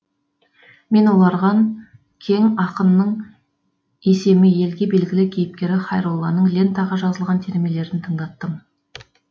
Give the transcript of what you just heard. мен оларған кең ақынның есемі елге белгілі кейіпкері хайролланың лентаға жазылған термелерін тыңдаттым